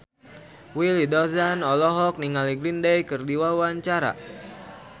Willy Dozan olohok ningali Green Day keur diwawancara